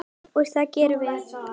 Og það gerum við.